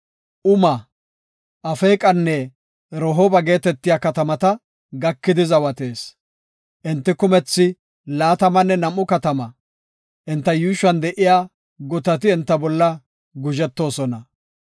Uma, Afeeqanne Rehooba geetetiya katamata gakidi zawatees. Enti kumethi laatamanne nam7u katama; enta yuushuwan de7iya gutati enta bolla guzhetoosona.